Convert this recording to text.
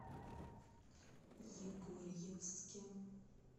егорьевске